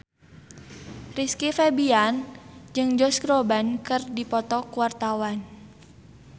Rizky Febian jeung Josh Groban keur dipoto ku wartawan